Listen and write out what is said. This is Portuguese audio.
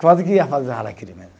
Quase que ia fazer